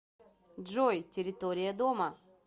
джой территория дома